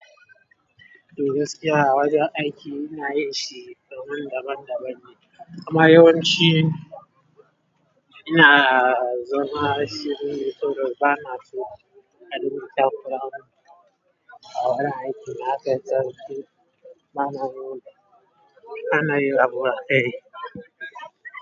To su kira wajen aiki ina yin shi kamar daban daban ne, amma yawanci ina zama shiri, to dai ba na so a ɗinka takura man a wurin aiki. Na kai tsarki, ba na so. Ba na yin abu a kai.